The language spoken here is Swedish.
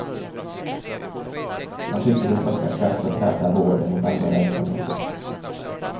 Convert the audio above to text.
Han tycker de saknar kraft att hävda vården mot andra verksamheter.